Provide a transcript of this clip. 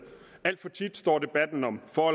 alt for tit står debatten om for